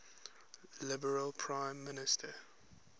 liberal prime minister